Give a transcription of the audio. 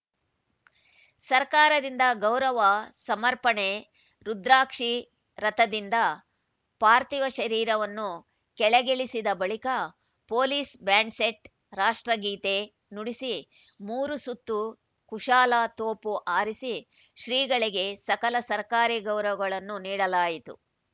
ಸರ್ಕಾರದಿಂದ ಗೌರವ ಸಮರ್ಪಣೆ ರುದ್ರಾಕ್ಷಿ ರಥದಿಂದ ಪಾರ್ಥಿವ ಶರೀರವನ್ನು ಕೆಳಗಿಳಿಸಿದ ಬಳಿಕ ಪೊಲೀಸ್‌ ಬ್ಯಾಂಡ್‌ಸೆಟ್‌ ರಾಷ್ಟ್ರಗೀತೆ ನುಡಿಸಿ ಮೂರು ಸುತ್ತು ಕುಶಾಲ ತೋಪು ಹಾರಿಸಿ ಶ್ರೀಗಳಿಗೆ ಸಕಲ ಸರ್ಕಾರಿ ಗೌರವಗಳನ್ನು ನೀಡಲಾಯಿತು